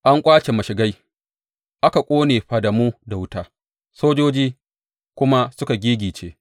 An ƙwace mashigai aka ƙone fadamu da wuta, sojoji kuma suka giggice.